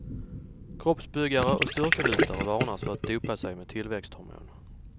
Kroppsbyggare och styrkelyftare varnas för att dopa sig med tillväxthormon.